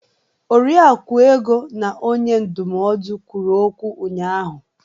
Oriakụ Ego ya onye ndụmọdụ kwụrụ okwu ụnyahụ.